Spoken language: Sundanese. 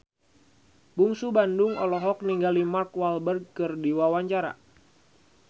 Bungsu Bandung olohok ningali Mark Walberg keur diwawancara